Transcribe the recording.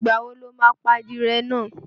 Ìgbà wo lo máa pa adìyẹ náà?